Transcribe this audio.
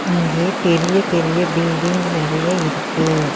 இங்கே பெரிய பெரிய பில்டிங் நெறைய இருக்கு.